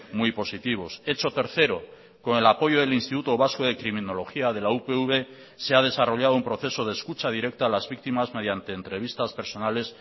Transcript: muy positivos hecho tercero con el apoyo del instituto vasco de criminología de la upv se ha desarrollado un proceso de escucha directa a las víctimas mediante entrevistas personales